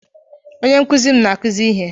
Onye nkụzi m na-akụzi ihe.